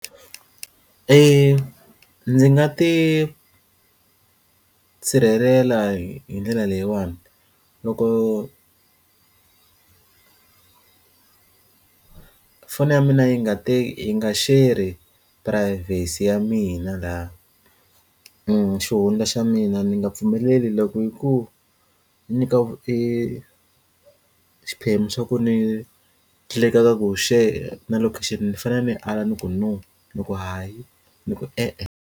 ndzi nga ti sirhelela hi ndlela leyiwani loko foni ya mina yi nga ta yi nga share ri privacy ya mina laha ni xihundla xa mina ni nga pfumeleli loko yi ku ku nyika e xiphemu xa ku ni ku share ni fanele ni ala ni ku no loko hayi ni ku, e-e.